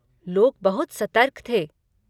लोग बहुत सतर्क थे।